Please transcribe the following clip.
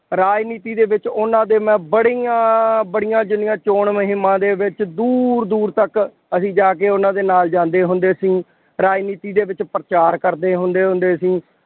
ਰਾਜਨੀਤੀ ਦੇ ਵਿੱਚ ਉਹਨਾ ਦੇ ਮੈਂ ਬੜੀਆਂ ਬੜੀਆਂ ਜਿੰਨੀਆਂ ਚੋਣ ਮੁਹਿੰਮਾਂ ਦੇ ਵਿੱਚ ਦੂਰ ਦੂਰ ਤੱਕ ਅਸੀਂ ਜਾ ਕੇ ਉਹਨਾ ਦੇ ਨਾਲ ਜਾਂਦੇ ਹੁੰਦੇ ਸੀ। ਰਾਜਨੀਤੀ ਦੇ ਵਿੱਚ ਪ੍ਰਚਾਰ ਕਰਦੇ ਹੁੰਦੇ ਹੁੰਦੇ ਸੀ।